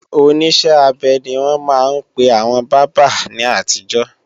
Oníṣẹ́-abẹ ni wọ́n máa ń pe àwọn bábà ní àtijọ́